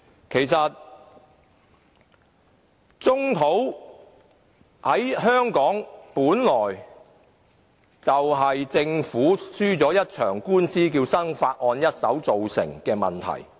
其實，棕地本來就是香港政府輸了一場官司，便是"生發案"一手造成的問題。